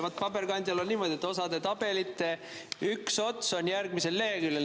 Ja paberkandjal on niimoodi, et osa tabelite üks ots on järgmisel leheküljel.